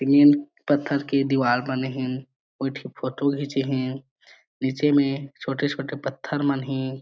Cement पत्थर के दीवाल बने हे एक ठी फोटो घिच्चे हे नीचे में छोटे-छोटे पत्थर मन हे।